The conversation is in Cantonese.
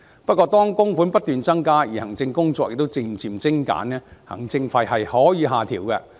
不過，當供款不斷增加，而行政工作亦漸漸精簡，行政費是可以下調的。